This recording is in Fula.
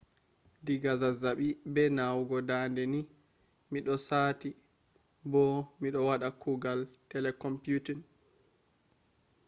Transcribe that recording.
diga zazzabi be nawugo dande ni mido sati bo mido wada kuugal telecomputing